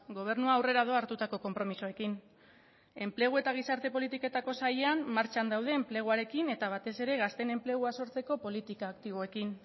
gobernua aurrera doa hartutako konpromisoekin enplegu eta gizarte politiketako sailean martxan daude enpleguarekin eta batez ere gazteen enplegua sortzeko politika aktiboekin